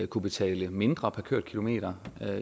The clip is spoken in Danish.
kunne betale mindre per kørt kilometer